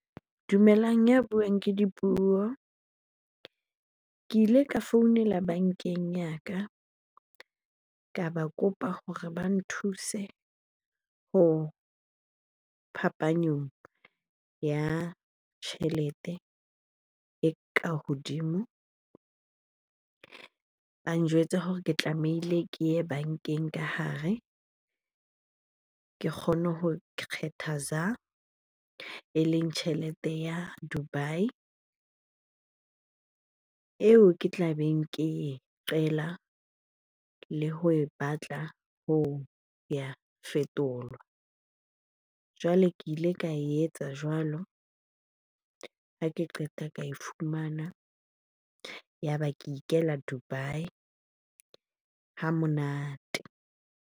Dumelang, ya buang ke Dipuo. Ke ile ka founela bankeng ya ka, ka ba kopa hore ba nthuse ho phapanyong ya tjhelete e ka hodimo. Ba njwetsa hore ke tlamehile ke ye bankeng ka hare ke kgone ho kgetha eleng tjhelete ya Dubai eo ke tla beng ke e qela le ho e batla ho ya fetolwa. Jwale ke ile ka etsa jwalo, ha ke qeta ka e fumana. Ya ba ke ikela Dubai ha monate.